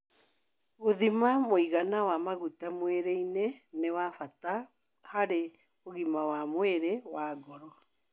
Gũthima mũigana wa maguta mwĩrĩ-inĩ nĩ wa bata harĩ ũgima wa mwĩrĩ wa ngoro